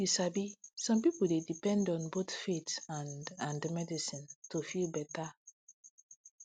you sabi some people dey depend on both faith and and medicine to feel better